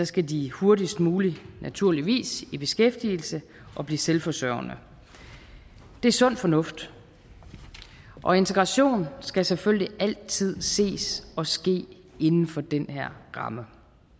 skal de hurtigst muligt naturligvis i beskæftigelse og blive selvforsørgende det er sund fornuft og integration skal selvfølgelig altid ses og ske inden for den her ramme